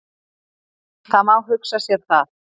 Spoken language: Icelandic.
Það má hugsa sér það.